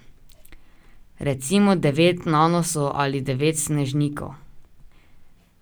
Recimo devet Nanosov ali devet Snežnikov.